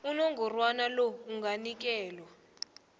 unongorwana lo anganikelwa